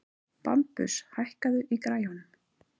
Bambus, hækkaðu í græjunum.